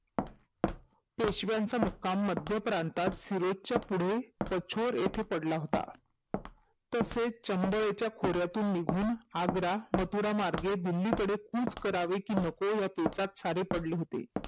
पेशवाचा मुकाम मध्यप्रातात सुरेच्या पुढे कठोर येथे पडला होता तसेच चबईच्या निघून आग्रा मथुरा मार्गे दिल्लीकडे पिचकरावे कि नको या विचारात सारे पडले होते